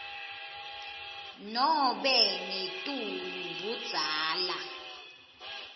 nobe ngetulu budzala